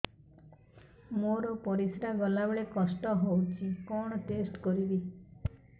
ମୋର ପରିସ୍ରା ଗଲାବେଳେ କଷ୍ଟ ହଉଚି କଣ ଟେଷ୍ଟ କରିବି